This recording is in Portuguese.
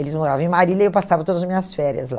Eles moravam em Marília e eu passava todas as minhas férias lá.